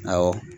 Awɔ